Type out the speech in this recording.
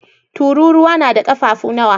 Tururuwa na da ƙafafu nawa?